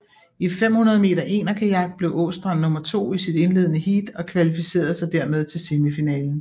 I 500 m enerkajak blev Aastrand nummer to i sit indledende heat og kvalificerede sig dermed til semifinalen